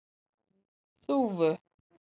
Þúfu